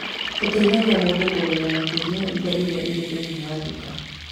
Tũteithagia mũndũ kũmenya makĩria indo iria irĩ thĩinĩ wa nduka.